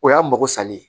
O y'an mago salen ye